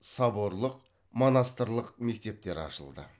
соборлық монастырлық мектептер ашылды